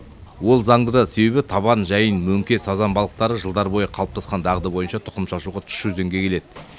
ол зандыда себебі табан жайын мөңке сазан балықтары жылдар бойы қалыптасқан дағды бойынша тұқым шашуға тұщы өзенге келеді